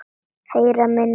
Heyra minni heyrn.